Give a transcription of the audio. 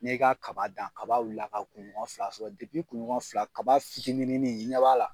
N'e ka kaba dan kaba ka kun ɲɔgɔn fila sɔrɔ depi kun ɲɔgɔn fila kaba finininin i ɲɛ b'a la